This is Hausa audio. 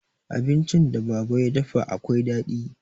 Abincin da baba ya dafa akwai daɗi.